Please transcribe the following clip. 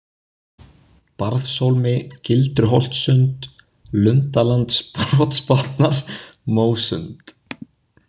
Barðshólmi, Gildruholtsund, Lundalandbrotsbotnar, Mósund